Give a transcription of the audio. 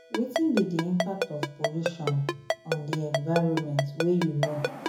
Wetin be di impact of pollution on di environment wey you know?